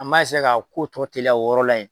An b'a k'a ko tɔ teliya o yɔrɔ la yen.